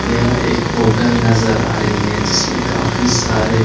यहां एक होटल नज़र आ रही है जिसमे काफी सारे --